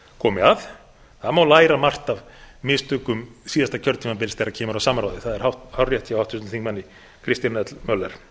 komi að það má læra margt af mistökum síðasta kjörtímabils þegar kemur að samráði það er hárrétt hjá háttvirtum þingmanni kristjáni l möller